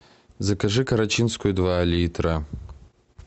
закажи карачинскую два литра